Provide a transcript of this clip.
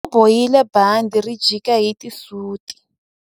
U bohile bandhi ri jika hi xisuti.